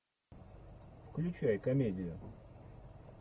включай комедию